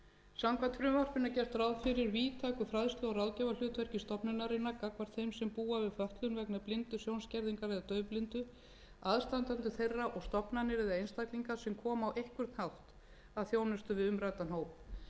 samkvæmt frumvarpinu er gert ráð fyrir víðtæku fræðslu og ráðgjafarhlutverki stofnunarinnar gagnvart þeim sem búa við fötlun vegna blindu sjónskerðingar eða daufblindu aðstandendur þeirra og stofnanir eða einstaklinga sem koma á einhvern hátt að þjónustu við umræddan hóp þetta